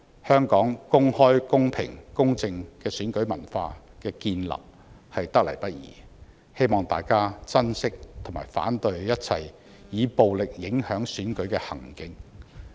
香港公開、公平、公正的選舉文化得來不易，希望大家珍惜並反對一切以暴力影響選舉的行徑。